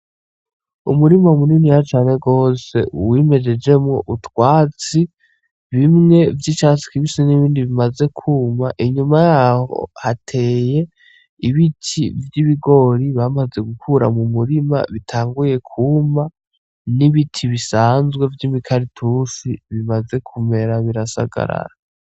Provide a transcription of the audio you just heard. Umurima muniniya cane gose wimejejemwo utwatsi bimwe vyicatsi kibisi n'ibindi bimaze kuma inyuma yaho hateye ibiti vya ibigori bamaze gukura mumurima bitanguye kuma n’ibiti bisanzwe vyimikaratusi bimaze kumera birasagarara.